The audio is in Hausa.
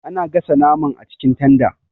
Ana gasa naman acikin tanda.